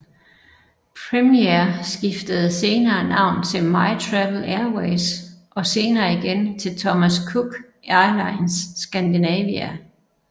Premiair skiftede senere navn til MyTravel Airways og senere igen til Thomas Cook Airlines Scandinavia